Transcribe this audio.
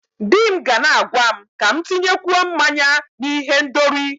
Di m ga na-agwa m ka m tinyekwuo mmanya na ihendori.